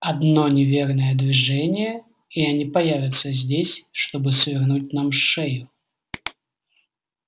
одно неверное движение и они появятся здесь чтобы свернуть нам шею